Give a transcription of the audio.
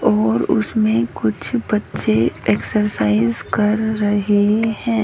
और उसमें कुछ बच्चे एक्सरसाइज कर रहे हैं।